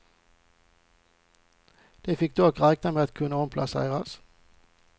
De fick dock räkna med att kunna omplaceras.